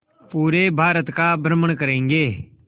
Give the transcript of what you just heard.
पूरे भारत का भ्रमण करेंगे